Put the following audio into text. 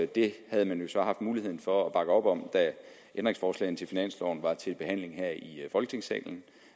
det havde man jo så haft mulighed for at bakke op om da ændringsforslagene til finansloven var til behandling her i folketingssalen